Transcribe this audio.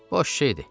Boş şeydir.